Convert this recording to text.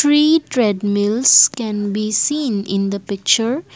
three treadmills can be seen in the picture.